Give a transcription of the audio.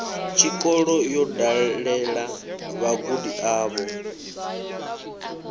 tshikolo yo dalela vhagudi avho